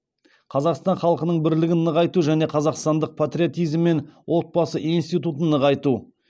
қазақстан халқының бірлігін нығайту және қазақстандық патриотизм мен отбасы институтын нығайту